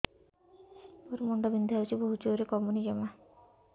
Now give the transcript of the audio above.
ମୋର ମୁଣ୍ଡ ବିନ୍ଧା ହଉଛି ବହୁତ ଜୋରରେ କମୁନି ଜମା